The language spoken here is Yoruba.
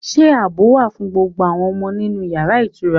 Are all the children safe in the hotel room?